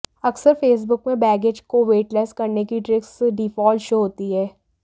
अक्सर फेसबुक में बैगेज को वेटलेस करने की ट्रिक्स डिफाल्ट शो होती हैं